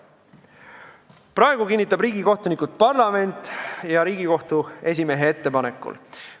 Praegu kinnitab riigikohtunikud parlament Riigikohtu esimehe ettepanekul.